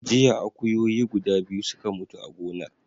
Jiya akuyoyi guda biyu suka mutu a gonar.